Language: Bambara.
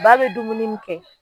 Ba be dumuni min kɛ